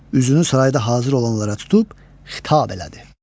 Üzünü sarayda hazır olanlara tutub xitab elədi: